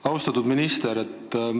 Austatud minister!